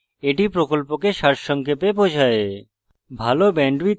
এটি প্রকল্পকে সারসংক্ষেপে বোঝায়